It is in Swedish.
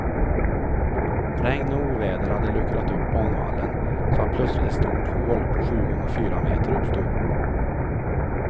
Regn och oväder hade luckrat upp banvallen så att plötsligt ett stort hål på sju gånger fyra meter uppstod.